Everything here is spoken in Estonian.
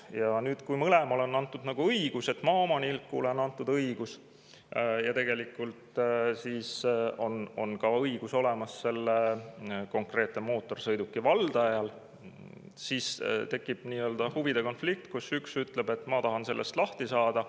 Ja nüüd, kui mõlemale on antud nagu õigus, maaomanikule on antud õigus ja tegelikult on õigus olemas ka selle konkreetse mootorsõiduki valdajal, siis tekib nii-öelda huvide konflikt, kus üks ütleb, et ma tahan sellest lahti saada.